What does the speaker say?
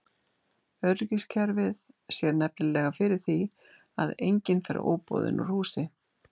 Öryggiskerfið sér nefnilega fyrir því að enginn fer óboðinn úr húsi.